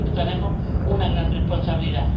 por lo tanto, tenemos una gran responsabilidad.